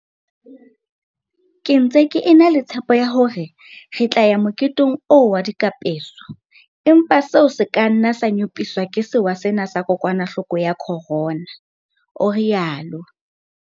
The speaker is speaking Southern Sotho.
Ke ntse ke e na le tshepo ya hore re tla ya moketeng oo wa dikapeso, empa seo se ka nna sa nyopiswa ke sewa sena sa kokwanahloko ya corona, o rialo.